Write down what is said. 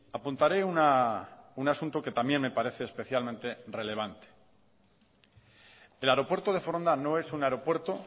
apuntaré un asunto que también me parece especialmente relevante el aeropuerto de foronda no es un aeropuerto